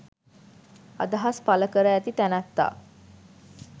අදහස් පල කර ඇති තැනැත්තා